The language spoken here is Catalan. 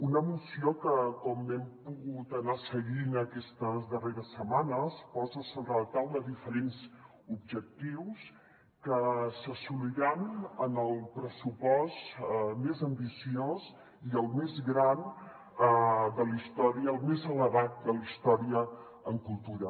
una moció que com hem pogut anar seguint aquestes darreres setmanes posa sobre la taula diferents objectius que s’assoliran en el pressupost més ambiciós i el més gran de la història el més elevat de la història en cultura